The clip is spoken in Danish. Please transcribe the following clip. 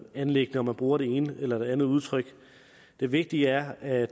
anliggende om man bruger det ene eller det andet udtryk det vigtige er at